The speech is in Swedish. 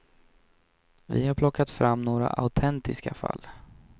Vi har plockat fram några autentiska fall.